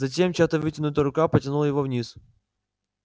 затем чья-то вытянутая рука потянула его вниз